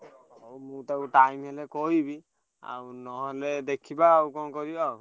ହଉ ମୁଁ ତାକୁ time ହେଲେ କହିବି। ଆଉ ନହେଲେ ଦେଖିବା ଆଉ କଣ କରିବା ଆଉ।